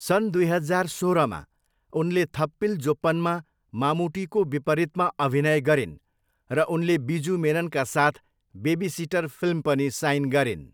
सन् दुई हजार सोह्रमा, उनले थप्पिल जोप्पनमा मामुटीको विपरीतमा अभिनय गरिन्, र उनले बिजु मेननका साथ बेबी सिटर फिल्म पनि साइन गरिन्।